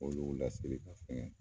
Olu laseli ka fɛn gɛ